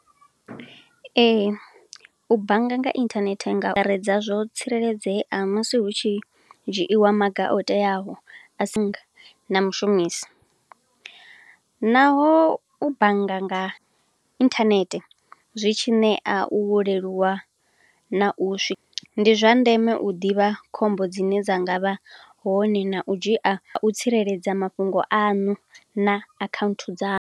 Ee, u bannga nga internet nga redza zwo tsireledzea musi hu tshi dzhiiwa maga o teaho, a si nga na mushumisi. Naho u bannga nga internet zwi tshi ṋea u uleluwa na u swi. Ndi zwa ndeme u ḓivha khombo dzine dza ngavha hone na u dzhia, na u tsireledza mafhungo aṋu na akhaunthu dza.